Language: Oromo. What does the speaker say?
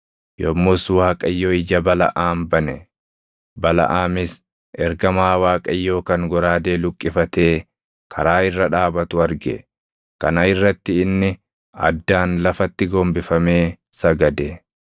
Yommus Waaqayyo ija Balaʼaam bane; Balaʼaamis ergamaa Waaqayyoo kan goraadee luqqifatee karaa irra dhaabatu arge. Kana irratti inni addaan lafatti gombifamee sagade.